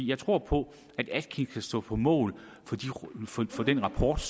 jeg tror på at atkins kan stå på mål for den rapport